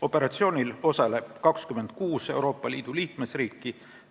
Operatsioonil osaleb 26 Euroopa Liidu liikmesriiki.